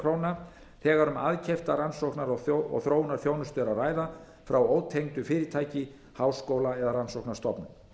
króna þegar um aðkeypta rannsóknar og þróunarþjónustu er að ræða frá ótengdu fyrirtæki háskóla eða rannsóknarstofnun